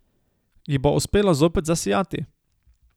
Ji bo uspelo zopet zasijati?